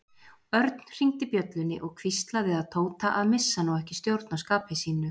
Örn hringdi bjöllunni og hvíslaði að Tóta að missa nú ekki stjórn á skapi sínu.